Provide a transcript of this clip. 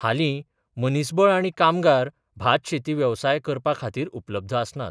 हालीं मनीसबळ आनी कामगार भात शेती वेवसाय करपा खातीर उपलब्ध आसनांत.